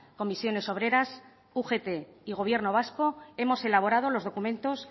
comisiones obreras ugt y gobierno vasco hemos elaborado los documentos